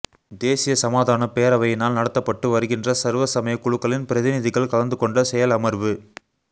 தேசிய சமாதான பேரவையினால் நடாத்தப்பட்டு வருகின்ற சர்வ சமய குழுக்களின் பிரதிநிதிகள் கலந்து கொண்ட செயலமர்வு